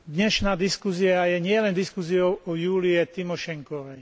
Dnešná diskusia je nielen diskusiou o Júlii Timošenkovej.